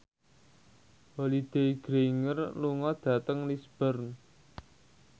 Holliday Grainger lunga dhateng Lisburn